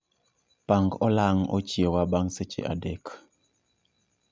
Pang olang' ochiewa bang' seche adek